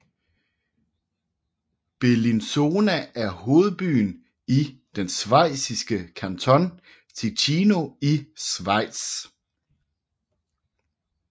Bellinzona er hovedbyen i den schweiziske kanton Ticino i Schweiz